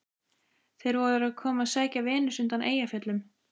Þeir voru að koma að sækja Venus undan Eyjafjöllum.